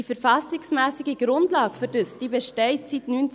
Die verfassungsmässige Grundlage dafür besteht seit 1993.